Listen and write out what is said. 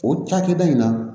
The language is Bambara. O cakɛda in na